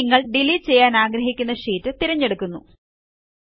ഇത് നിങ്ങൾ ഡിലീറ്റ് ചെയ്യാനാഗ്രഹിക്കുന്ന ഷീറ്റ് തിരഞ്ഞെടുക്കുന്നു